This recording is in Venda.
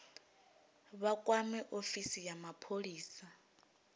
vha kwame ofisi ya mapholisa